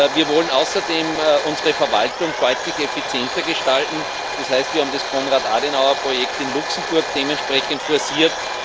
Wir wollen außerdem unsere Verwaltung deutlich effizienter gestalten, das heißt, wir haben das Konrad Adenauer Projekt in Luxemburg dementsprechend forciert.